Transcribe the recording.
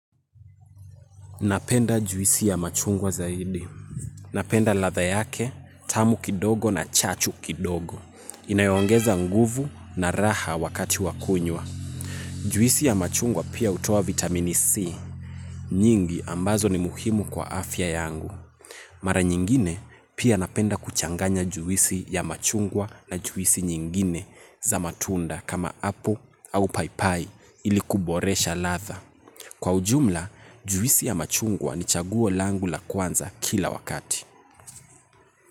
Napenda juisi ya machungwa zaidi. Napenda ladha yake, tamu kidogo na chachu kidogo. Inayo ongeza nguvu na raha wakati wa kunywa. Juisi ya machungwa pia hutoa vitamini C. Nyingi ambazo ni muhimu kwa afya yangu. Mara nyingine pia napenda kuchanganya juisi ya machungwa na juisi nyingine za matunda kama apple au paipai ili kuboresha ladha. Kwa ujumla, juisi ya machungwa ni chaguo langu la kwanza kila wakati.